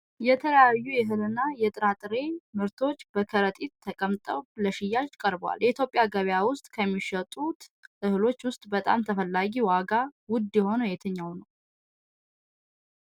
የተለያዩ የእህልና የጥራጥሬ ምርቶች በከረጢት ተቀምጠው ለሽያጭ ቀርበዋል። በኢትዮጵያ ገበያ ውስጥ ከሚሸጡት እህሎች ውስጥ በጣም ተፈላጊና ዋጋው ውድ የሆነው የትኛው ነው?